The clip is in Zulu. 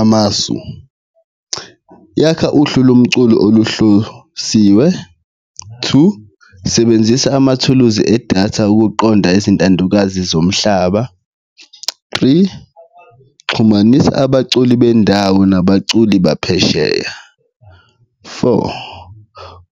Amasu, yakha uhlu lomculo oluhlosiwe, two, sebenzisa amathuluzi edatha ukuqonda izintandokazi zomhlaba, three, xhumanisa abaculi bendawo nabaculi baphesheya, four,